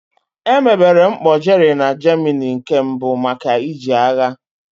Emebere mkpọ Jerry na Germany nke mbụ maka iji agha.